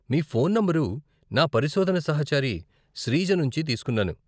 మీ phone number నా పరిశోధన సహచరి శ్రీజ నుంచి తీసుకున్నాను.